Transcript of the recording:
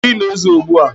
Mmiri a na-ezo ugbu a?